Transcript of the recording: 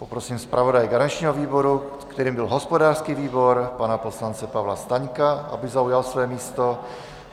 Poprosím zpravodaje garančního výboru, kterým byl hospodářský výbor, pana poslance Pavla Staňka, aby zaujal své místo.